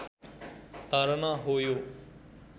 धारणा हो यो